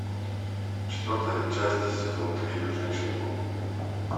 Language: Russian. четвертая часть сезон три женщина паук